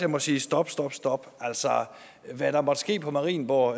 må sige stop stop stop hvad der måtte ske på marienborg